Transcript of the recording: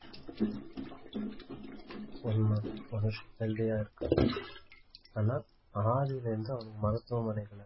மனுஷன் healthy ஆ இருக்கான் ஆனா ஆதியிலருந்து அவனுக்கு மருத்துவமனை